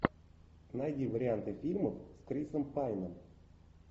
найди варианты фильмов с крисом пайном